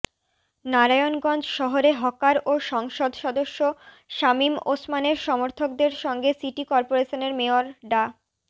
নারায়ণগঞ্জ শহরে হকার ও সংসদ সদস্য শামীম ওসমানের সমর্থকদের সঙ্গে সিটি করপোরেশনের মেয়র ডা